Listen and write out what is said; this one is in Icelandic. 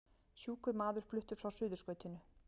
Sjúkur maður fluttur frá Suðurskautinu